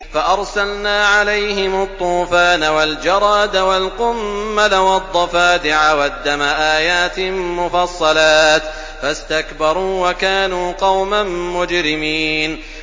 فَأَرْسَلْنَا عَلَيْهِمُ الطُّوفَانَ وَالْجَرَادَ وَالْقُمَّلَ وَالضَّفَادِعَ وَالدَّمَ آيَاتٍ مُّفَصَّلَاتٍ فَاسْتَكْبَرُوا وَكَانُوا قَوْمًا مُّجْرِمِينَ